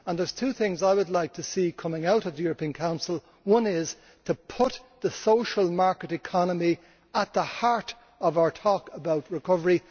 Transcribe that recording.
There are two things I would like to see coming out of the European Council one is to put the social market economy at the heart of our talk about recovery.